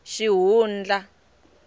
xihundla